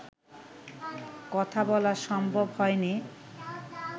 কথা বলা সম্ভব হয়নি